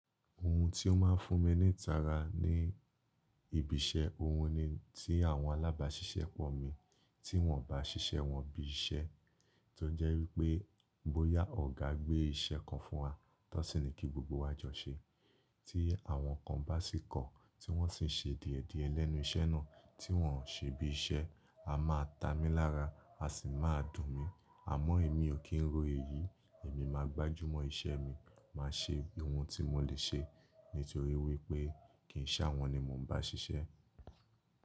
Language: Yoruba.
Ohun tí ó máa ń fún mi ní itara ní ibiṣẹ́, ohun ni tí àwọn alábàáṣiṣẹ́ pọ̀ mi, tí wọ́n bá ṣiṣẹ́ wọn bí i iṣẹ́. To je wipé bóyá ọ̀gá gbé iṣẹ́ kan fún wa, tan sin ni kí gbogbo wa jọ ṣe. Tí àwọn kan bá sì kọ̀, tí wọ́n sì ń ṣe dìẹ̀dìẹ̀ lẹ́nu iṣẹ́ náà, tí wọ́n ṣe bí iṣẹ́, a máa ta mí lára, a sì máa dùn mi. Àmọ́ èmi ò kí ń ro èyí, èmi máa gbájú mọ́ iṣẹ́ mi, màá ṣe ohun tí mo lè ṣe nítorí wípé kì í ṣàwọn ni mo ń bá ṣiṣẹ́.